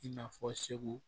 I n'a fɔ segu